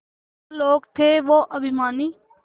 क्या लोग थे वो अभिमानी